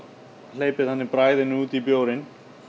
hleypir þannig bragðinu út í bjórinn